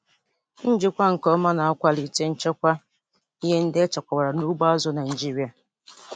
Njikwa nke ọma na-akwalite nchekwa ihe ndị echekwabara n'ugbo azụ̀ Naịjiria.